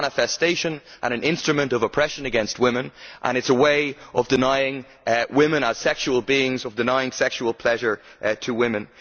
It is a manifestation and an instrument of oppression against women and it is a way of denying women as sexual beings, of denying sexual pleasure to women.